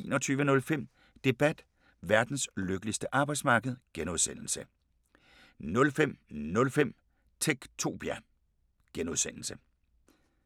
19:05: 4 på foden 21:05: Debat: Verdens lykkeligste arbejdsmarked (G) 05:05: Techtopia (G)